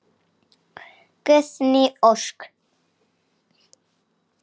Guðný Ósk.